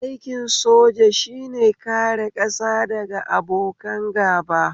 Aikin soja shine kare ƙasa daga abokan gaba